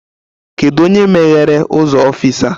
Kedụ onye meghere ụzọ ọfịịsi a?